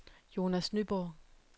Jonas Nyborg